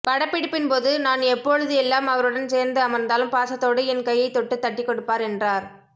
படப்பிடிப்பின்போது நான் எப்பொழுது எல்லாம் அவருடன் சேர்ந்து அமர்ந்தாலும் பாசத்தோடு என் கையை தொட்டு தட்டிக் கொடுப்பார் என்றார்